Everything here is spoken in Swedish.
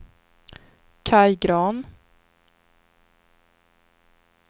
Kaj Grahn